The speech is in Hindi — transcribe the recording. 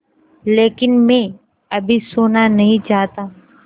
लेकिन मैं अभी सोना नहीं चाहता